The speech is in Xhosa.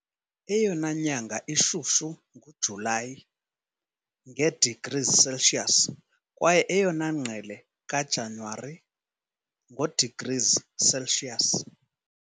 Eyona nyanga ishushu nguJulayi, nge-degrees Celsius, kwaye eyona ngqele kaJanuwari, ngo-degrees Celsius.